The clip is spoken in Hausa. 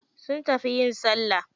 Sun tafi yin salla.